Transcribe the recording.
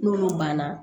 N'olu banna